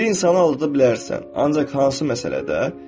Bir insanı aldada bilərsən, ancaq hansı məsələdə?